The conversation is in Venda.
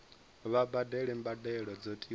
vha badele mbadelo dzo tiwaho